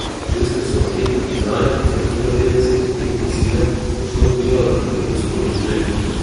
Ženske so v anketi priznale, da je knjiga Petdeset odtenkov sive močno vplivala na njihovo spolno življenje.